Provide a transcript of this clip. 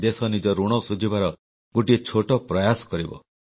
ଦେଶ ନିଜ ଋଣ ଶୁଝିବାର ଗୋଟିଏ ଛୋଟ ପ୍ରୟାସ କରିବ